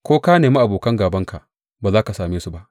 Ko ka nemi abokan gābanka, ba za ka same su ba.